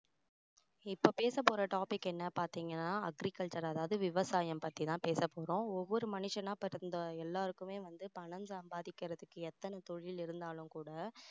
இப்போ பேச போற topic என்னன்னு பார்த்தீங்கன்னா agriculture அதாவது விவசாயம் பத்தி தான் பேச போறோம் ஒவ்வொரு மனுசனா பிறந்த எல்லாருக்குமே வந்து பணம் சம்பாதிக்கிறதுக்கு எத்தனை தொழில் இருந்தாலும் கூட